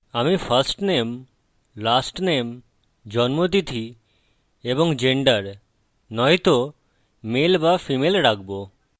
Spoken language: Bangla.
আমি firstname lastname জন্মতিথি এবং gender নয়তো male বা female রাখবো